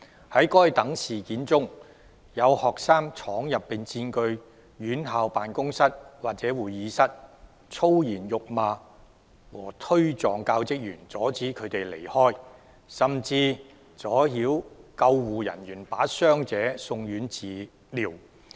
在該等事件中，有學生闖入並佔據院校辦公室或會議室、粗言辱罵和推撞教職員、阻止他們離開，甚至阻撓救護人員把傷者送院治療。